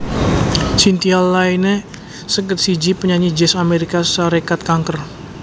Cynthia Layne seket siji panyanyi Jazz Amérika Sarékat kanker